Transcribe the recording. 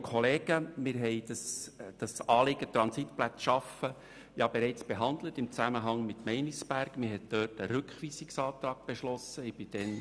Wir haben das Anliegen, Transitplätze zu schaffen, bereits im Zusammenhang mit Meinisberg behandelt, wo ein Rückweisungsantrag beschlossen wurde.